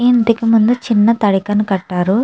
ఈ ఇంటికి ముందూ చిన్న తడికను కటారు.